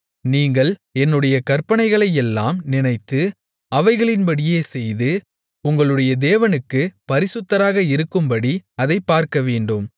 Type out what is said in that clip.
நீங்கள் என்னுடைய கற்பனைகளையெல்லாம் நினைத்து அவைகளின்படியே செய்து உங்களுடைய தேவனுக்குப் பரிசுத்தராக இருக்கும்படி அதைப் பார்க்கவேண்டும்